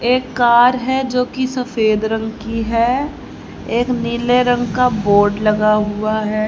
एक कार है जोकि सफेद रंग की है एक नीले रंग का बोर्ड लगा हुआ है।